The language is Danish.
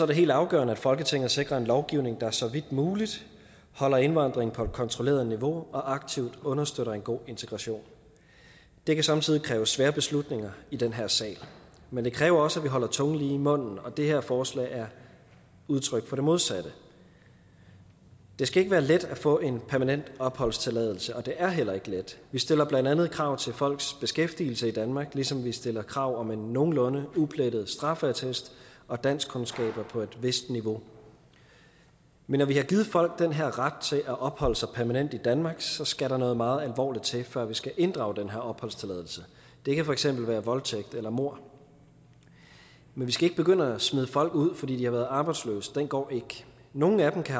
det helt afgørende at folketinget sikrer en lovgivning der så vidt muligt holder indvandring på et kontrolleret niveau og aktivt understøtter en god integration det kan somme tider kræve svære beslutninger i den her sal men det kræver også at vi holder tungen lige i munden og det her forslag er udtryk for det modsatte det skal ikke være let at få en permanent opholdstilladelse og det er heller ikke let vi stiller blandt andet krav til folks beskæftigelse i danmark ligesom vi stiller krav om en nogenlunde uplettet straffeattest og danskkundskaber på et vist niveau men når vi har givet folk den her ret til at opholde sig permanent i danmark så skal der noget meget alvorligt til før vi skal inddrage den her opholdstilladelse det kan for eksempel være voldtægt eller mord men vi skal ikke begynde at smide folk ud fordi de har været arbejdsløse den går ikke nogle af dem kan